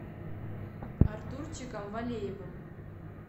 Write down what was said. артурчиком валеевым